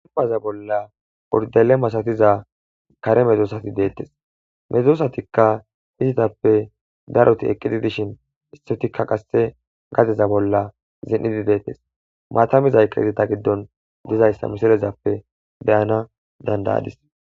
Hayissa bolla uridale masatida kare medosati betesi he medosa izatape darroti eqi des mata mizayisata giddoni beyidda beyanawu dandayadis